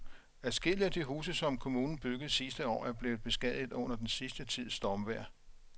Adskillige af de huse, som kommunen byggede sidste år, er blevet beskadiget under den sidste tids stormvejr.